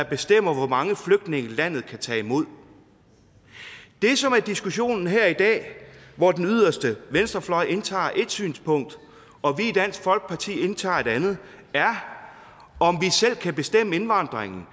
bestemmer hvor mange flygtninge landet kan tage imod det som er diskussionen her i dag hvor den yderste venstrefløj indtager ét synspunkt og vi i dansk folkeparti indtager et andet er om vi selv kan bestemme indvandringen